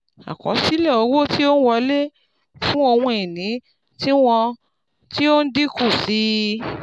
àkosile owo tí ó n wọlé fun ohun ìní tiwọn ti o n dínkù sí i